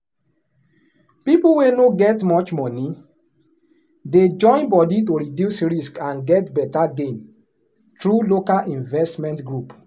people wey no get much money dey join body to reduce risk and get better gain through local investment group.